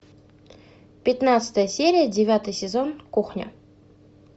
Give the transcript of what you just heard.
пятнадцатая серия девятый сезон кухня